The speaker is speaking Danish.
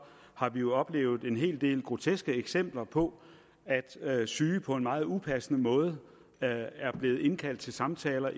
har vi jo oplevet en hel del groteske eksempler på at syge på en meget upassende måde er er blevet indkaldt til samtaler